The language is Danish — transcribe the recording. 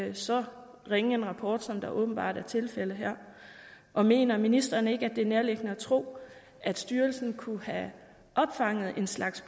en så ringe rapport som det åbenbart er tilfældet her og mener ministeren ikke at det er nærliggende at tro at styrelsen kunne have opfanget en slags